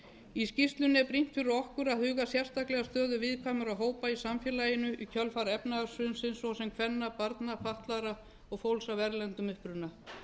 í skýrslan er brýnt fyrir okkur að huga sérstaklega að stöðu viðkvæmra hópa í samfélaginu i kjölfar efnahagshrunsins svo sem kvenna barna fatlaðra og fólks af erlendum uppruna